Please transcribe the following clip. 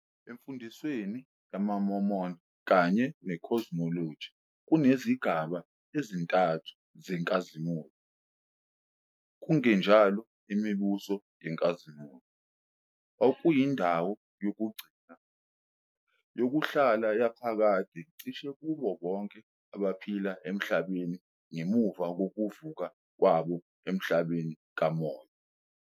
Emfundisweni yamaMormon kanye ne- cosmology kunezigaba ezintathu zenkazimulo, kungenjalo, imibuso yenkazimulo, okuyindawo yokugcina, yokuhlala yaphakade cishe kubo bonke abaphila emhlabeni ngemuva kokuvuka kwabo emhlabeni kamoya.